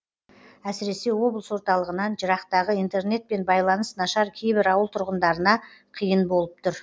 әсіресе облыс орталығынан жырақтағы интернет пен байланыс нашар кейбір ауыл тұрғындарына қиын болып тұр